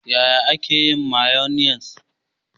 Yaya ake yin mayonnaise?